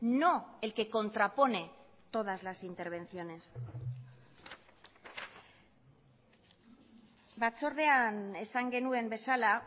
no el que contrapone todas las intervenciones batzordean esan genuen bezala